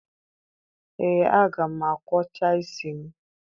Ee, aga m akwọcha isi m